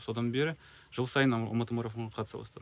содан бері жыл сайын алматы марафонына қатыса бастадым